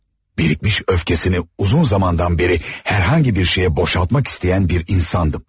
Birikmiş öfkəsini uzun zamandan bəri hər hansı bir şeyə boşaltmaq istəyən bir insandım.